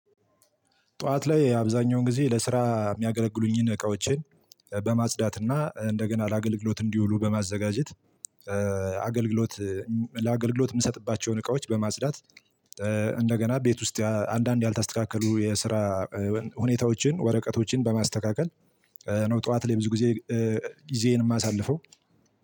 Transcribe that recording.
ጠዋት ላይ አብዛኛውን ጊዜ ለስራ የሚያገለግሉኝን እቃዎችን በማጽዳትና እንደገና ለአገልግሎት እንዲውሉ በማዘጋጀት አገልግሎት ለአገልግሎት የምሰጥባቸውን እቃዎች በማጽዳት እንደገና ቤት ውስጥ አንዳንድ ያልታስተካከሉ የስራ ሁኔታዎችን ወረቀቶችን በማስተካከል ነው ጠዋት ላይ ብዙ ጊዜ ጊዜዬን የማሳልፈው።